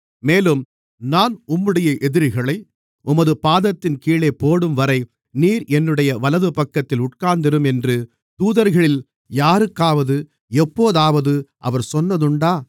மேலும் நான் உம்முடைய எதிரிகளை உமது பாதத்தின் கீழே போடும்வரை நீர் என்னுடைய வலதுபக்கத்தில் உட்கார்ந்திரும் என்று தூதர்களில் யாருக்காவது எப்போதாவது அவர் சொன்னதுண்டா